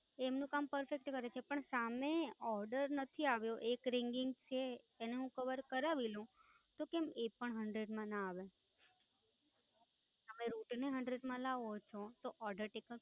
એમનું કામ Perfect કરે છે પણ સામે Order નથી આવ્યો એક ringing છે એને હું કવર કરાવી લઉં તો કેમ એ પણ ringing માં ના આવે? અને route ને hundred માં લાવવો હોય તો order takeup